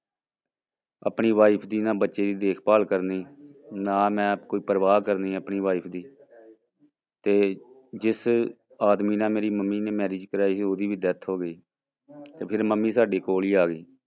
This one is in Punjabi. ਆਪਣੀ wife ਦੀ ਨਾ ਬੱਚੇ ਦੀ ਦੇਖਭਾਲ ਕਰਨੀ, ਨਾ ਮੈਂ ਕੋਈ ਪ੍ਰਵਾਹ ਕਰਨੀ ਆਪਣੀ wife ਦੀ ਤੇ ਜਿਸ ਆਦਮੀ ਨਾਲ ਮੇਰੀ ਮੰਮੀ ਨੇ marriage ਕਰਵਾਈ ਸੀ ਉਹਦੀ ਵੀ death ਹੋ ਗਈ ਤੇ ਫਿਰ ਮੰਮੀ ਸਾਡੀ ਕੋਲ ਹੀ ਆ ਗਈ।